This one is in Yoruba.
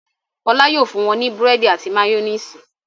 Fọlá yóò fún wọn ní búrẹ́dì àti máyónísì.